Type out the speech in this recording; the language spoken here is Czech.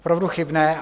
Opravdu chybné.